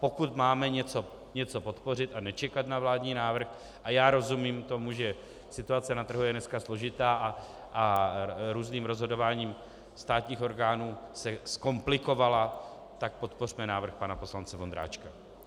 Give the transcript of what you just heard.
Pokud máme něco podpořit a nečekat na vládní návrh, a já rozumím tomu, že situace na trhu je dnes složitá a různým rozhodováním státních orgánů se zkomplikovala, tak podpořme návrh pana poslance Vondráčka.